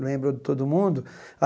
Lembro de todo mundo.